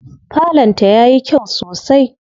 Falon ta yayi kyau sosai.